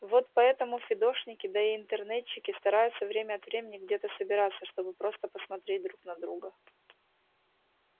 вот поэтому фидошники да и интернетчики стараются время от времени где-то собираться чтобы просто посмотреть друг на друга